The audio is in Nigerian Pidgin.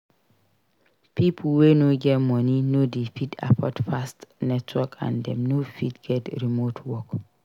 Pipo wey no get money no dey fit afford fast network and dem no fit get remote work